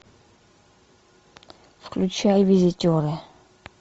включай визитеры